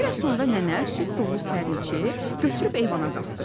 Bir az sonra nənə süd dolu sərinçi götürüb eyvana qalxdı.